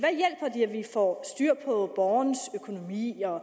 at vi får styr på borgerens økonomi og